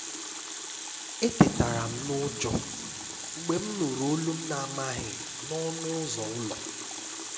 Ètètàrà m n’ụ́jọ́ mgbe m nụrụ olu m n’amaghị n’ọnụ ụ́zọ́ ụ́lọ́.